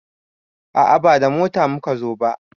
A'a ba da mota muka zo ba